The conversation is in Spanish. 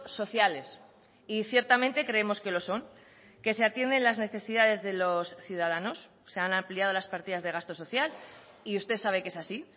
sociales y ciertamente creemos que lo son que se atienden las necesidades de los ciudadanos se han ampliado las partidas de gasto social y usted sabe que es así